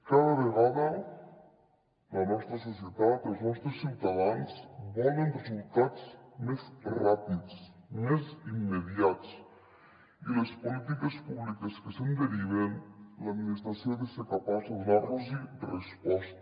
cada vegada la nostra societat els nostres ciutadans volen resultats més ràpids més immediats i a les polítiques públiques que se’n deriven l’administració ha de ser capaç de donar los resposta